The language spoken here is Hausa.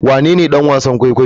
Wanene ɗan wasan kwaikwayo?